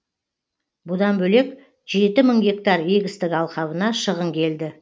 бұдан бөлек жеті мың гектар егістік алқабына шығын келді